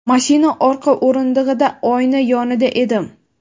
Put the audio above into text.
Mashina orqa o‘rindig‘ida oyna yonida edim.